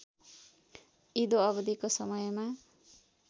इदो अवधिको समयमा